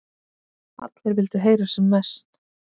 Allir vildu heyra sem mest.